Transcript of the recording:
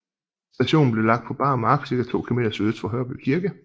Stationen blev lagt på bar mark ca 2 km sydøst for Hørby Kirke